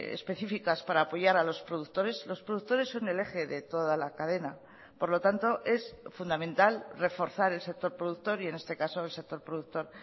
específicas para apoyar a los productores los productores son el eje de toda la cadena por lo tanto es fundamental reforzar el sector productor y en este caso el sector productor